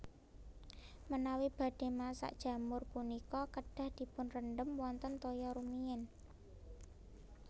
Menawi badhé masak jamur punika kedah dipunrendhem wonten toya rumiyin